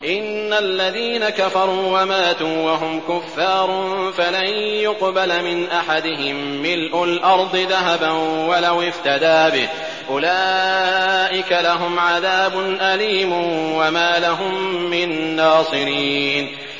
إِنَّ الَّذِينَ كَفَرُوا وَمَاتُوا وَهُمْ كُفَّارٌ فَلَن يُقْبَلَ مِنْ أَحَدِهِم مِّلْءُ الْأَرْضِ ذَهَبًا وَلَوِ افْتَدَىٰ بِهِ ۗ أُولَٰئِكَ لَهُمْ عَذَابٌ أَلِيمٌ وَمَا لَهُم مِّن نَّاصِرِينَ